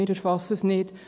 Wir erfassen es nicht.